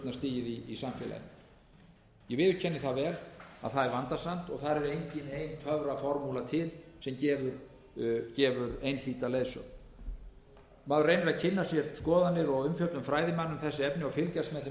í samfélaginu ég viðurkenni það vel að það er vandasamt og þar er engin ein töfraformúla til sem gefur einhlíta leiðsögn maður reynir að kynna sér skoðanir og umfjöllun fræðimanna um þessi efni og fylgjast með þeim umræðum sem í